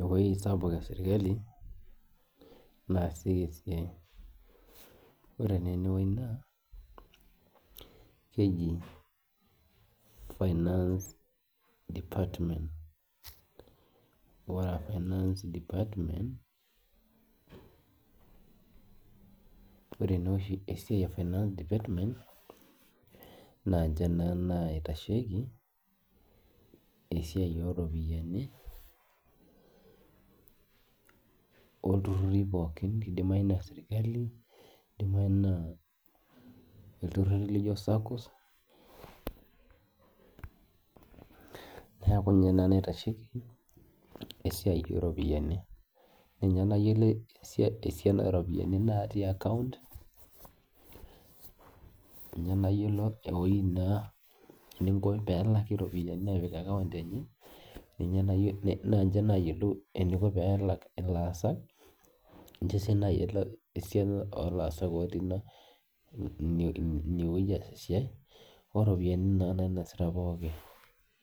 ewuei sapuk esirkali naasieki esiai ore naa enewuei naa keji finance department, ore finance department ore naa oshi esiai e finance department naa nche naa naitsheiki esiai ooropiyiani lturruri pookin, kidimayu naa sirkali kidimayu naa ilturruri lijio saccos neeku inye naaa naitasheiki esiai ooropiyiani, ninye nayiolo eisiana ooropiyiani naatii account ninye nayiolo eninko naai pee elaki iropiyiani te accounteni naa inche naayilo eniko enelak ilaasak ninche sii naayiolo esiana oolaasak ootii ina inewueji eisiai oropiyiani naa nainasita pookin.